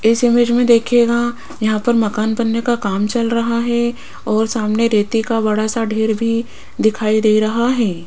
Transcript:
इस इमेज मे देखियेगा यहां पर मकान बनने का काम चल रहा है और सामने रेती का बड़ा सा ढेर भी दिखाई दे रहा है।